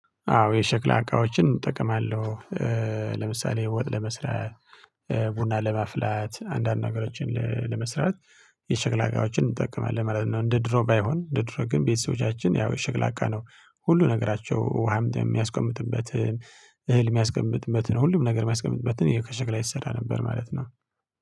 አዎ የሸክላ አቃዎችን እጠቀማለው። ለምሳሌ ወጥ ለመስራት ቡና ለማፍላት አንዳንድ ነገሮችን ለመስራት የሸክላ እቃዎችን እንጠቀማለን ማለት ነው። እንደ ድሮ ባይሆን እንደ ድሮ ግን ቤተሰቦቻችን ያው ሽክላ እቃ ነው። ሁሉ ነገራቸው ውሃም የሚያስቀምጡበትን እህል ሚያስቀምጡበትን ሁሉም ነገር ሚያስቀምጡበትን ይሄው ከሸክላ የተሰራ ነበር። ማለት ነው